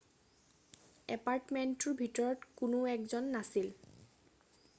এপাৰ্টমেন্টটোৰ ভিতৰত কোনো 1 জন নাছিল